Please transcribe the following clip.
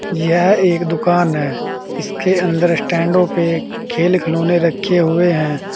यह एक दुकान है इसके अंदर स्टैंडो पे खेल खिलौने रखे है।